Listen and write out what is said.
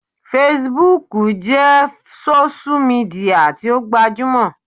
Fesibúùkù jẹ́ sósú midià tí ó gbajúmọ̀